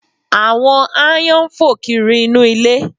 Àwọn aáyán ń fò kiri inú ilé